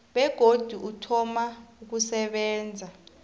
begodu uthoma ukusebenza